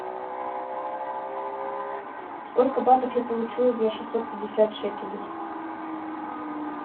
сколько батов я получу за шестьсот пятьдесят шекелей